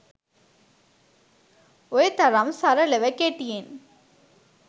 ඔය තරම් සරලව කෙටියෙන්